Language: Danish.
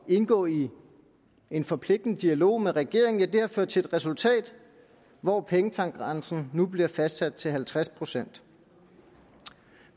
indgå i en forpligtende dialog med regeringen har ført til et resultat hvor pengetankgrænsen nu bliver fastsat til halvtreds procent